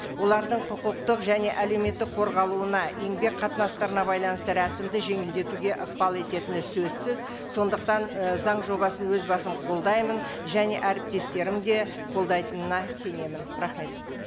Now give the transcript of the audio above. олардың құқықтық және әлеуметтік қорғалуына еңбек қатынастарына байланысты рәсімді жеңілдетуге ықпал ететіні сөзсіз сондықтан і заң жобасын өз басым қолдаймын және әріптестерім де қолдайтынына сенемін рахмет